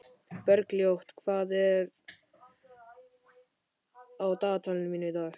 Bergljót, hvað er á dagatalinu mínu í dag?